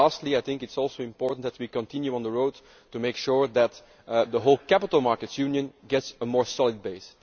It is also important that we continue on this road to make sure that the whole capital markets union gets a more solid base.